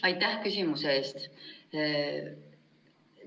Aitäh küsimuse eest!